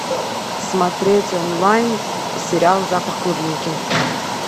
смотреть онлайн сериал запах клубники